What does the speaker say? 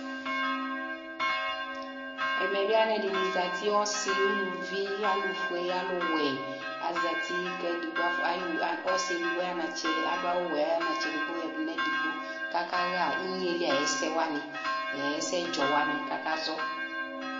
Ɛmɛbɩ alʊɛdɩnɩ zati ɔsɩ uluvi ɛtʊ fue ɛtʊwɛ zati kʊ ɔsɩ edigbo zati kʊ ayɔ anatsɛ yadu nʊ edigbo kʊ aka ɣa inyeli ayʊ ɛsɛ wanɩ ɛsɛdzɔ wanɩ kʊ akazɔ